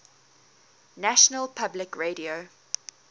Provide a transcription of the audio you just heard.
national public radio